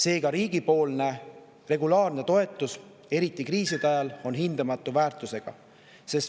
Seega on riigi regulaarne toetus, seda eriti kriiside ajal, hindamatu väärtusega.